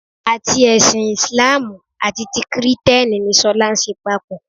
Àti ẹṣin Ìsìláàmù àti ti kìrìtẹ́nì ni ṣọlá ń ṣe papọ̀